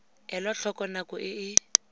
elwa tlhoko nako e e